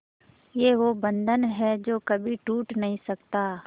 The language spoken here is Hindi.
ये वो बंधन है जो कभी टूट नही सकता